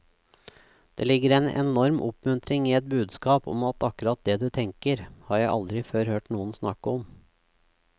Det ligger en enorm oppmuntring i et budskap om at akkurat det du tenker, har jeg aldri før hørt noen snakke om.